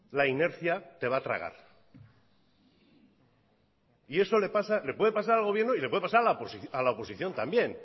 la inercia te a va tragar y eso le puede pasar al gobierno y le puede pasar a la oposición también